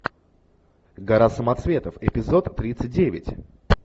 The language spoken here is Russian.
гора самоцветов эпизод тридцать девять